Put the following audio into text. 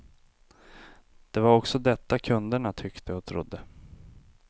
Det var också detta kunderna tyckte och trodde.